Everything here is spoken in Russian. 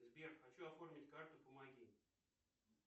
сбер хочу оформить карту помоги